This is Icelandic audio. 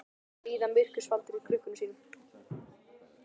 Þeir bíða myrkurs faldir í krukkum sínum.